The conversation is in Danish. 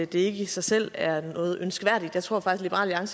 det er ikke i sig selv noget ønskværdigt og